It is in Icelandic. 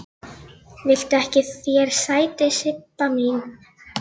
Viltu ekki fá þér sæti, Sibba mín?